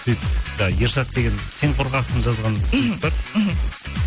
сөйтіп жаңағы ершат деген сен қорқақсың жазған мхм жігіт бар мхм